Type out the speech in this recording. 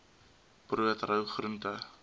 brood rou groente